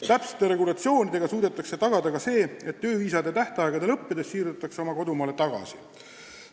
Täpsete regulatsioonidega suudetakse tagada ka see, et tööviisade tähtaegade lõppedes siirduvad inimesed oma kodumaale tagasi.